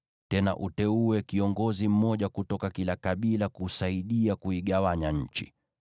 Tena uteue kiongozi mmoja kutoka kila kabila kusaidia kuigawanya nchi.